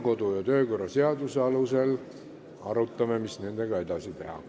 Kodu- ja töökorra seaduse alusel arutame, mis nendega edasi teha.